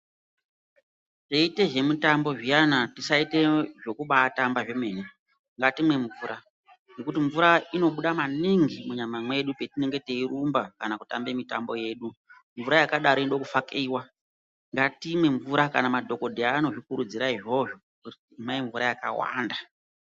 Teiite zvemutambo zviyana tisaite zvekubaatamba zvemene. Ngatimwe mvura ngekuti mvura inobuda maningi munyama mwedu petinenge teirumba kana kutamba mitambo yedu. Mvura yakadaro inode kufakiwa. Ngatimwe mvura, kana madhogodheya anozvikurudzira izvozvo, kuti imwai mvura yakawanda.